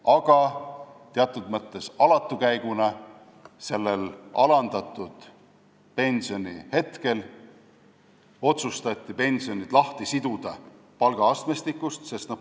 Aga teatud mõttes alatu käiguna otsustati sel ajal, kui pensionid olid alandatud, pensionid palgaastmestikust lahti siduda.